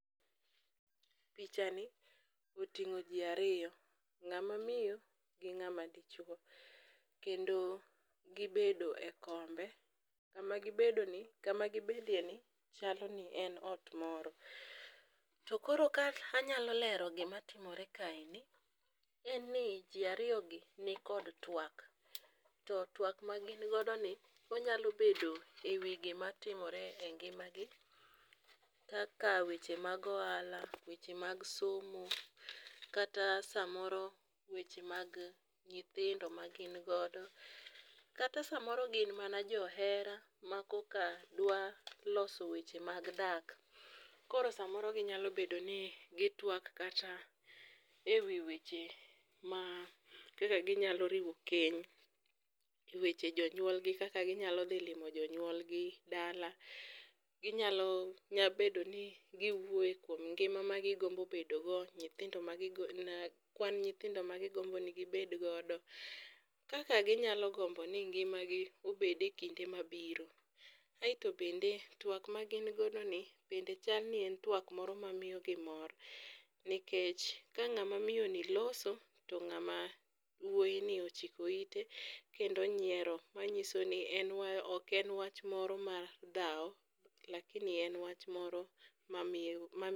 Pichani oting'o ji ariyo, ng'ama miyo gi ng'ama dichuo kendo gibedo e kombe. Kama gibedoeni chalo ni en ot moro. Koro ka anyalo lero gima timore kaeni, chal ni ji ariyogi nikod twak to twak magin godoni onyalo bedo ewi gmatimore e ngimagi kaka weche mag ohala, weche mag somo kata samoro weche nyithindo magin godo kata samoro gin mana jo hera makoka dwa loso weche mag dak. Koro samoro ginyalo bedo ni gitwak kata ewi weche kaka ginyalo riwo keny, weche jonyuolgi kaka ginyalo dhi limo jonyuolgi dala. Ginyalo nyalo bedo ni giwuoyo kuom ngima ma gigombo bedo go, nyithindo ma gigombo bedo go, kwan nyithindo magigombo ni gibed godo. Kaka ginyalo gombo ni ngimagi obed ekinde mabiro. Kaeto bende twak magin godoni bende chal ni en twak mamiyogi mor nikech ka ng'amamiyo ni loso, to ng'ama wuoyini ochikoite kendo onyiero, manyiso ni ok en wach moro mar dhaw lakini en wach moro mamiyo